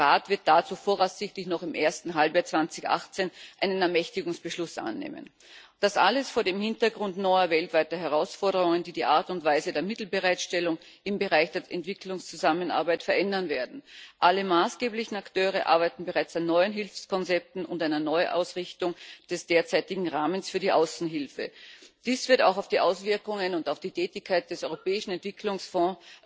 Der Rat wird dazu voraussichtlich noch im ersten Halbjahr 2018 einen Ermächtigungsbeschluss annehmen. Das alles vor dem Hintergrund neuer weltweiter Herausforderungen, die die Art und Weise der Mittelbereitstellung im Bereich der Entwicklungszusammenarbeit verändern werden. Alle maßgeblichen Akteure arbeiten bereits an neuen Hilfskonzepten und einer Neuausrichtung des derzeitigen Rahmens für die Außenhilfe. Dies wird auch auf die Auswirkungen und auf die Tätigkeit des Europäischen Entwicklungsfonds